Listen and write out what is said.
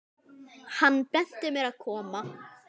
Hann benti mér að koma?